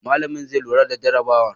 Malami zai lura da jarabawar.